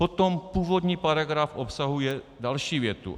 Potom původní paragraf obsahuje další větu.